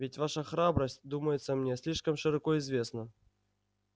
ведь ваша храбрость думается мне слишком широко известна